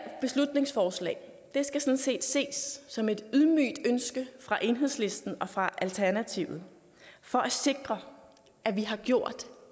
beslutningsforslag skal sådan set ses som et ydmygt ønske fra enhedslisten og fra alternativet for at sikre at vi har gjort